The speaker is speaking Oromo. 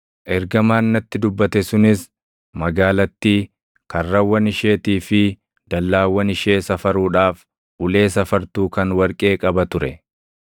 Ergamaan natti dubbate sunis magaalattii, karrawwan isheetii fi dallaawwan ishee safaruudhaaf ulee safartuu kan warqee qaba ture.